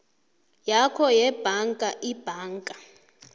yakho yebhanka ibhanka